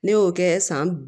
Ne y'o kɛ san